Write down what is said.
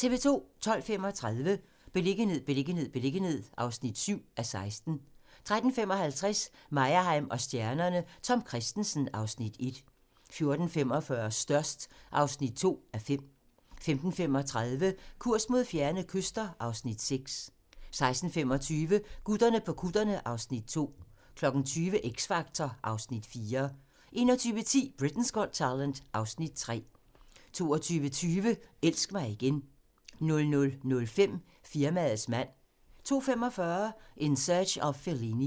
12:35: Beliggenhed, beliggenhed, beliggenhed (7:16) 13:55: Meyerheim & stjernerne: Tom Kristensen (Afs. 1) 14:45: Størst (2:5) 15:35: Kurs mod fjerne kyster (Afs. 6) 16:25: Gutterne på kutterne (Afs. 2) 20:00: X Factor (Afs. 4) 21:10: Britain's Got Talent (Afs. 3) 22:20: Elsk mig igen 00:05: Firmaets mand 02:45: In Search of Fellini